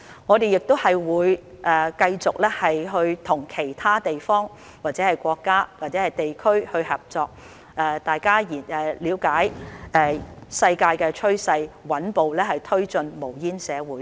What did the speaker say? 我們亦會繼續和其他國家與地區合作，了解世界的趨勢，穩步推進無煙社會。